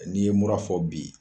N'i ye mura fɔ bi